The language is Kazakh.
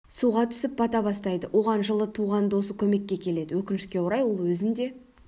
суға түсіп бата бастайды оған жылы туған досы көмекке келеді өкінішке орай ол өзін де